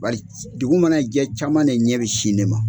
Bari dugu mana jɛ caman de ɲɛ bɛ sin ne ma.